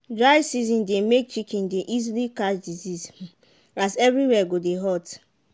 dry season dey make chicken dey easily catch disease as everywhere go dey hot.